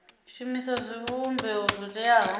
shumisa zwivhumbeo zwo teaho kha